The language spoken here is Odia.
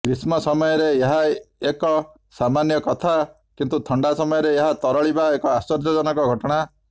ଗ୍ରୀଷ୍ମ ସମୟରେ ଏହା ଏକ ସାମାନ୍ୟ କଥା କିନ୍ତୁ ଥଣ୍ଡା ସମୟରେ ଏହା ତରଳିବା ଏକ ଆଶ୍ଚର୍ଯ୍ୟଜନକ ଘଟଣା